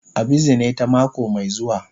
A bizine ta mako mai zuwa.